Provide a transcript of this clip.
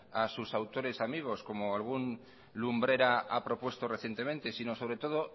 a sus autores amigos como algún lumbrera ha propuesta recientemente sino sobre todo